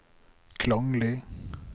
klanglig